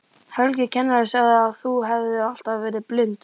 Helgi kennari sagði að þú hefðir alltaf verið blind.